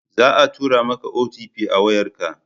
Za a tura ma ka "OTP" a wayar ka